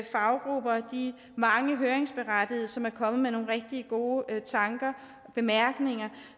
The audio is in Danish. faggrupper og de mange høringsberettigede som er kommet med nogle rigtig gode tanker og bemærkninger